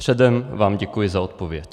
Předem vám děkuji za odpověď.